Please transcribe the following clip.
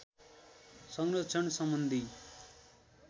संरक्षण सम्बन्धी